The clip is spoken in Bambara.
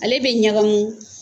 Ale bɛ ɲagamin